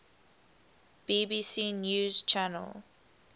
bbc news channel